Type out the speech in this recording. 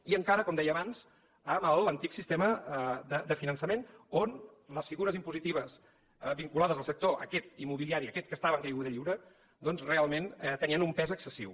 i encara com deia abans amb l’antic sistema de finançament on les figures impositives vinculades al sector aquest immobiliari aquest que estava en caiguda lliure doncs realment tenien un pes excessiu